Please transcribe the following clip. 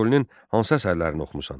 Füzulinin hansı əsərlərini oxumusan?